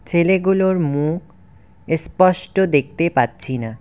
ছেলেগুলোর মুখ এসপষ্ট দেখতে পাচ্ছি না।